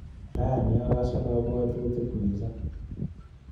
Rani akase kabwatutik missing.